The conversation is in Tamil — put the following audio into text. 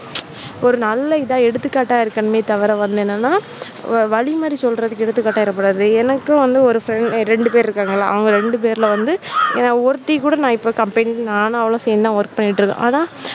ஒரு நல்ல இதா எடுத்துக்காட்டா இருக்கணுமே தவிர வேற என்னென்ன வலி மாறி சொல்லி எடுத்துக்காட்டா இருக்கக்கூடாது. எனக்கும் ஒரு friend ரெண்டு பேர் இருக்காங்க. இல்ல அவங்க ரெண்டு பேர்ல வந்து என ஒருத்தி கூட இப்போ company யை வந்து நானும் அவளும் சேர்ந்து தான் work பண்ணிட்டு இருக்கோம் ஆனா